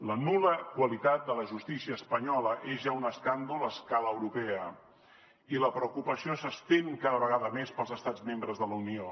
la nul·la qualitat de la justícia espanyola és ja un escàndol a escala europea i la preocupació s’estén cada vegada més pels estats membres de la unió